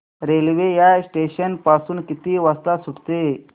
railway या station पासून किती वाजता सुटते